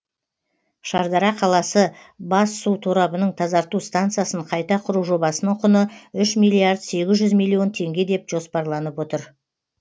шардара қаласы бас су торабының тазарту станциясын қайта құру жобасының құны үш миллиард сегіз жүз миллион теңге деп жоспарланып отыр